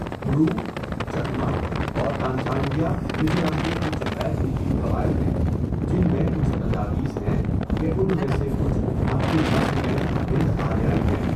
برو، چکما، اور تانچانگیا میزورم کے کچھ غیر کوکی قبائل ہیں، جن میں کچھ تجاویز ہیں کہ ان میں سے کچھ اپنی نسل میں ہند آریائی ہیں.